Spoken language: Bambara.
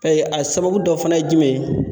a sababu dɔ fana ye jumɛn ye